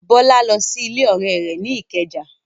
Bọ́lá lọ rí ọ̀rẹ́ rẹ̀ ní Ìkẹjà.